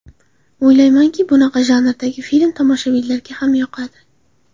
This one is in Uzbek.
O‘ylaymanki, bunaqa janrdagi film tomoshabinlarga ham yoqadi.